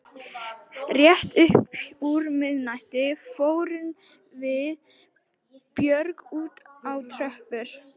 Rétt upp úr miðnættinu fórum við Björg út á tröppur